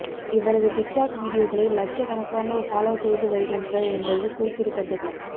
இவரது டிக்டாக் வீடியோக்களை லட்சக்கணக்கானோர் ஃபாலோ செய்து வருகின்றனர் என்பது குறிப்பிடத்தக்கது